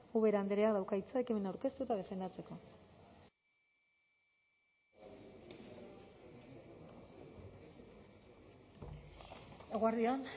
ubera andreak dauka hitza ekimena aurkeztu eta defendatzeko eguerdi on